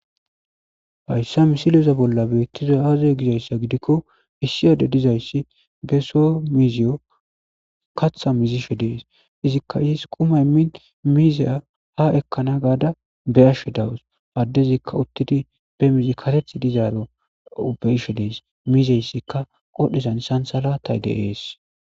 fayssa misilyeza bolla beettiza aazey gizayssa gidikko miissiyade dizayssi be so miziyo katha mizishe dees izikka iis qumay min miizeya ha ekkana gaada be ashshe dawus addezikka uttidi be mizi kateth dizaaro ubeishe dees miizeyssikka qodhezan isansalatay deees